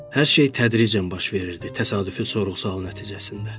Hər şey tədricən baş verirdi təsadüfü sual nəticəsində.